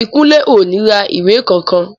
Ìbíkúnlé ò ní ra ìwé kankan